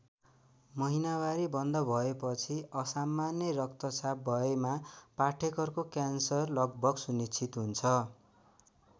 महिनावारी बन्द भएपछि असामान्य रक्तश्राव भएमा पाठेघरको क्यान्सर लगभग सुनिश्चित हुन्छ।